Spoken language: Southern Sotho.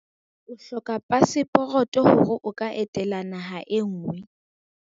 o hloka paseporoto ha o etela naha e nngwe